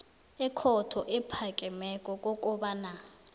ekhotho ephakemeko kobanyana